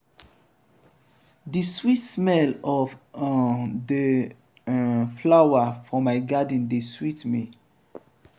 di sweet smell of um di um flower for my garden dey sweet me.